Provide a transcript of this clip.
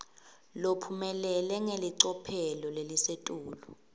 lophumelele ngelicophelo lelisetulu